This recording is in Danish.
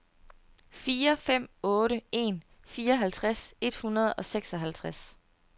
fire fem otte en fireoghalvtreds et hundrede og seksoghalvtreds